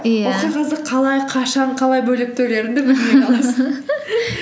қағазды қалай қашан қалай бөліп төлеріңді білмей қаласың